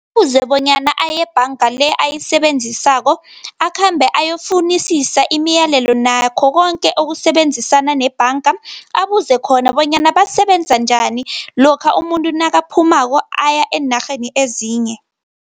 Kufuze bonyana aye ebhanga le ayisebenzisako, akhambe ayokufunisisa imiyalelo nakho koke okusebenzisana nebhanga, abuze khona bonyana basebenza njani, lokha umuntu nakaphumako aya eenarheni ezinye.